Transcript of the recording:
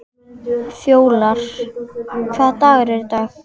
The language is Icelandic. Fjólar, hvaða dagur er í dag?